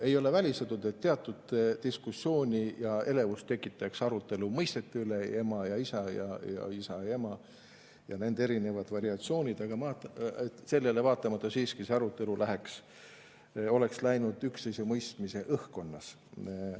Ei ole välistatud, et teatud diskussiooni ja elevust tekitaks arutelu mõistete üle – ema ja isa, isa ja ema ning nende erinevad variatsioonid –, aga sellele vaatamata oleks see arutelu siiski läinud üksteise mõistmise õhkkonnas.